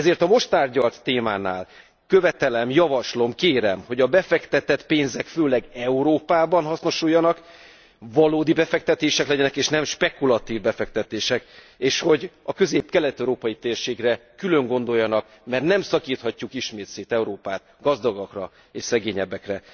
Ezért a most tárgyalt témánál követelem, javaslom, kérem, hogy a befektetett pénzek főleg Európában hasznosuljanak, valódi befektetések legyenek és nem spekulatív befektetések, és hogy a közép kelet európai térségre külön gondoljanak, mert nem szakíthatjuk ismét szét Európát gazdagokra és szegényebbekre.